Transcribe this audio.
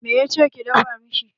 Me ya ce ki dafa mishi?